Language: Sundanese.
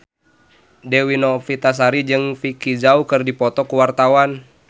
Dewi Novitasari jeung Vicki Zao keur dipoto ku wartawan